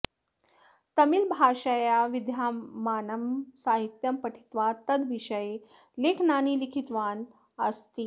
तमिळ्भाषया विद्यमानं साहित्यं पठित्वा तद्विषये लेखनानि लिखितवान् अस्ति